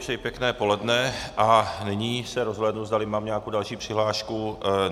Přeji pěkné poledne a nyní se rozhlédnu, zdali mám nějakou další přihlášku.